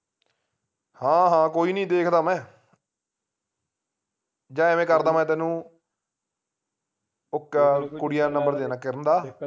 ਹਾਂ ਹਾਂ ਕੋਈ ਨੀ ਦੇਖਦਾ ਮੈਂ ਜਾ ਐਵੇਂ ਕਰਦਾ ਮੈਂ ਤੈਨੂੰ ਉਹ ਕੁੜੀ ਦਾ number ਦੇ ਦਿਨਾ ਕਿਰਨ ਦਾ